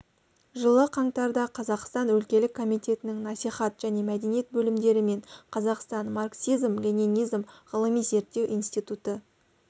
жылы қаңтарда қазақстан өлкелік комитетінің насихат және мәдениет бөлімдері мен қазақстан марксизм-ленинизм ғылыми-зерттеу институты